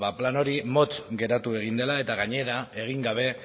plan hori motz geratu egin dela eta gainera egin gabe